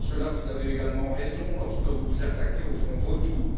Vous avez également raison lorsque vous vous attaquez aux fonds vautours.